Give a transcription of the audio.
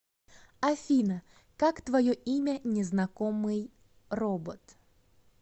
афина как твое имя незнакомый робот